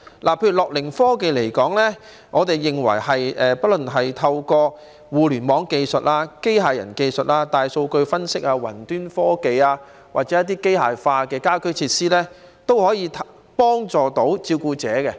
關於樂齡科技，我們認為不論是透過互聯網技術、機械人技術、大數據分析、雲端科技或是機械化的家居設施，也可以幫助照顧者。